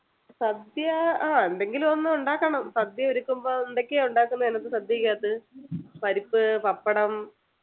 സദ്യ ആഹ് എന്തെങ്കിലും ഒന്ന് ഉണ്ടാക്കണം സദ്യ ഒരുക്കുമ്പോ എന്തൊക്കെയാ ഉണ്ടാക്കുന്നെ അതിനാത്ത സദ്യക്കകത്ത് പരിപ്പ് പപ്പടം